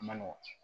A ma nɔgɔn